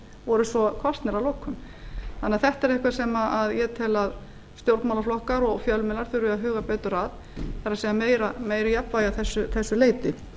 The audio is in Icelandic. voru svo kosnir að lokum þannig að þetta er eitthvað sem ég tel að stjórnmálaflokkar og fjölmiðlar þurfi að huga betur að það er meira jafnvægi að þessu leyti